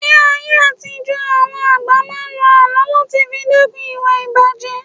Ní ayé àtijó àwọn àgbà máa ń ló àlọ́ láti fi dẹ́kun ìwà ìbàjé